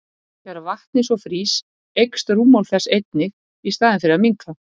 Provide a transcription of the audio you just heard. Þegar vatnið svo frýs eykst rúmmál þess einnig í staðinn fyrir að minnka!